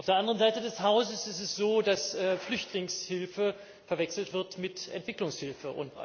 Auf der anderen Seite des Hauses ist es so, dass Flüchtlingshilfe verwechselt wird mit Entwicklungshilfe.